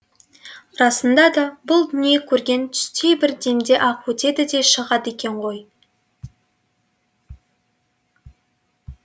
расында да бұл дүние көрген түстей бір демде ақ өтеді де шығады екен ғой